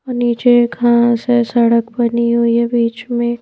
नीचे घास है सड़क बनी हुई है बीच में --